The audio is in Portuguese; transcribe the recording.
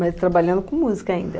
Mas trabalhando com música ainda.